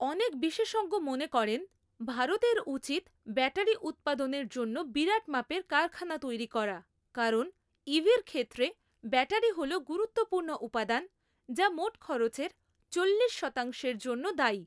অনেক বিশেষজ্ঞ মনে করেন, ভারতের উচিত ব্যাটারি উৎপাদনের জন্য বিরাট মাপের কারখানা তৈরী করা কারণ ইভির ক্ষেত্রে ব্যাটারি হল গুরুত্বপূর্ণ উপাদান যা মোট খরচের চল্লিশ শতাংশের জন্য দায়ী।